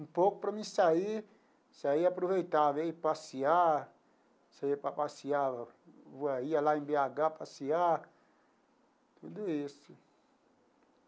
Um pouco para mim sair, saía e aproveitava, ia passear, saía para passear, eu ia lá em bê agá passear, tudo isso.